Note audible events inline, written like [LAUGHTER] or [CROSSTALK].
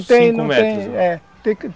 cinco metros, é [UNINTELLIGIBLE]